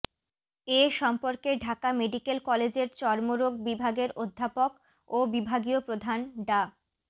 এ সম্পর্কে ঢাকা মেডিকেল কলেজের চর্মরোগ বিভাগের অধ্যাপক ও বিভাগীয় প্রধান ডা